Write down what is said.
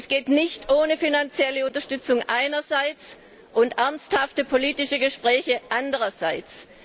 Dies geht nicht ohne finanzielle Unterstützung einerseits und ernsthafte politische Gespräche andererseits.